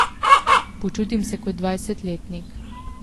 Počutim se kot dvajsetletnik.